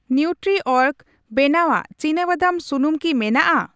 ᱱᱤᱣᱴᱨᱤᱚᱨᱜ ᱵᱮᱱᱟᱣᱟᱜ ᱪᱤᱱᱟᱵᱟᱫᱟᱢ ᱥᱩᱱᱩᱢ ᱠᱤ ᱢᱮᱱᱟᱜᱼᱟ ?